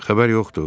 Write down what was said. Xəbər yoxdur?